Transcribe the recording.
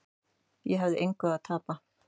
Ég hafði engu að tapa.